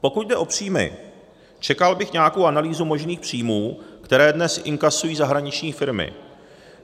Pokud jde o příjmy, čekal bych nějakou analýzu možných příjmů, které dnes inkasují zahraniční firmy.